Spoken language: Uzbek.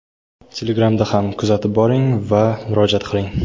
Telegramda ham kuzatib boring va murojaat qiling.